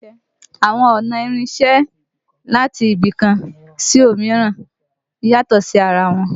Àwọn ọ̀nà ìrìnsẹ̀ láti ibì kan sí òmíràn yàtọ̀ sí ara wọn